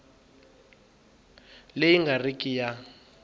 leyi nga ri ki ya